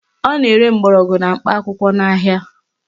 Ọ na-ere mgbọrọgwụ na mkpa akwụkwọ n'ahia